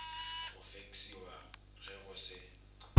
go feksiwa ge go se